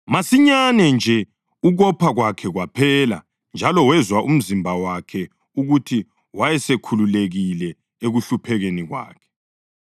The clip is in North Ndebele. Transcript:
Masinyane nje ukopha kwakhe kwaphela njalo wezwa emzimbeni wakhe ukuthi wayesekhululekile ekuhluphekeni kwakhe.